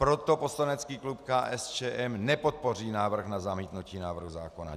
Proto poslanecký klub KSČM nepodpoří návrh na zamítnutí návrhu zákona.